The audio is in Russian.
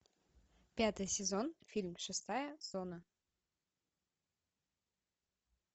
пятый сезон фильм шестая зона